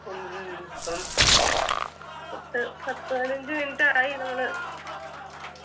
ഉം ഇപ്പം പത്ത് പത്ത് പതിനഞ്ചു minute ആയി നമ്മള്